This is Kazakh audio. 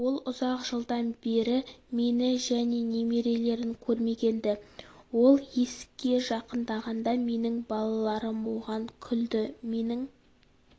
ол ұзақ жылдан бері мені және немерелерін көрмеген-ді ол есікке жақындағанда менің балаларым оған күлді менің